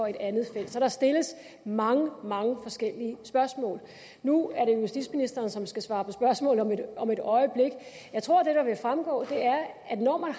et andet felt så der stilles mange mange forskellige spørgsmål nu er det justitsministeren som skal svare på spørgsmål om et om et øjeblik jeg tror det der vil fremgå er at når man